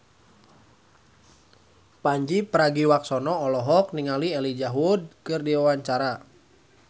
Pandji Pragiwaksono olohok ningali Elijah Wood keur diwawancara